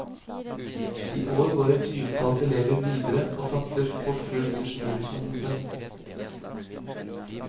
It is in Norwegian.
I år går et tyvetalls elever videre og satser på full ingeniørutdannelse.